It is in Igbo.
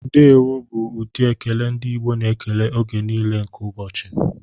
Ndewo bụ ụdị ekele ndị Igbo na-ekele oge niile nke ụbọchị.